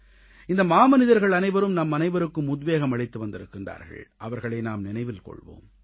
இந்த மாமனிதர்கள் அனைவரும் நம்மனைவருக்கும் உத்வேகம் அளித்து வந்திருக்கிறார்கள் அவர்களை நாம் நினைவில் கொள்வோம்